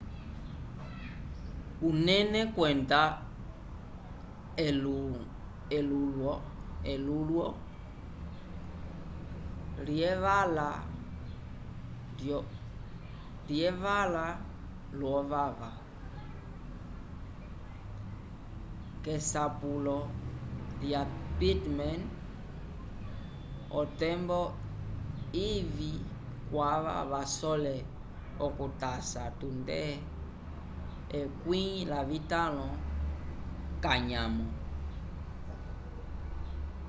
unene kwenda elulwo lyevala lyovava k'esapulo lya pittman otembo ivĩ kwava vasole okutasa tunde 15 k'anyamo